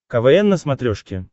квн на смотрешке